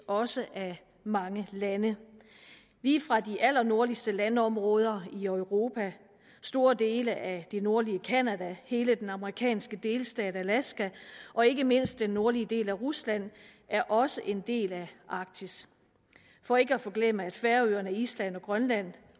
også af mange lande lige fra de allernordligste landområder i europa store dele af det nordlige canada hele den amerikanske delstat alaska og ikke mindst den nordlige del af rusland er også en del af arktis og ikke at forglemme færøerne island og grønland